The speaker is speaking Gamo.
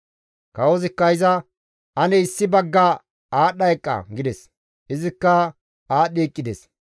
Kawozikka iza, «Ane issi bagga aadhdha eqqa» gides. Izikka aadhdhi eqqides.